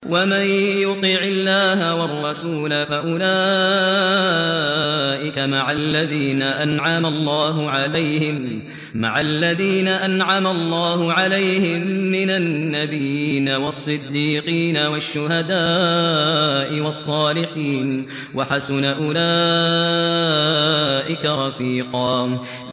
وَمَن يُطِعِ اللَّهَ وَالرَّسُولَ فَأُولَٰئِكَ مَعَ الَّذِينَ أَنْعَمَ اللَّهُ عَلَيْهِم مِّنَ النَّبِيِّينَ وَالصِّدِّيقِينَ وَالشُّهَدَاءِ وَالصَّالِحِينَ ۚ وَحَسُنَ أُولَٰئِكَ رَفِيقًا